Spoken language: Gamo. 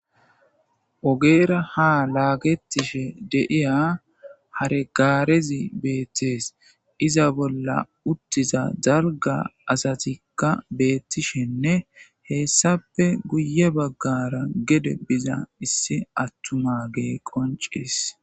ogeera ha laagettishe de'iya hare gaarezi beettees iza bolla uttiza dalga asatikka beettishenne heessape guye baggara gede biza issi attumage qoncees